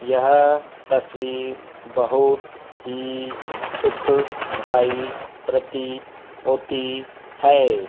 यह तस्वीर बहुत ही सुखदाई प्रतीत होती है।